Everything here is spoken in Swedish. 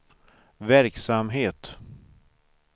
verksamhet